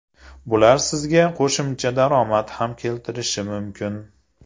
Bular sizga qo‘shimcha daromad ham keltirishi mumkin.